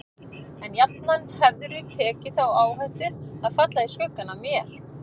En jafnan hefðirðu tekið þá áhættu að falla í skuggann af mér.